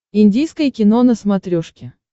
индийское кино на смотрешке